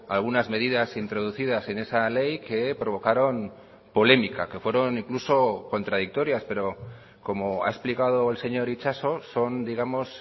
algunas medidas introducidas en esa ley que provocaron polémica que fueron incluso contradictorias pero como ha explicado el señor itxaso son digamos